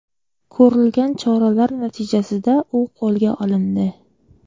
Ko‘rilgan choralar natijasida u qo‘lga olindi.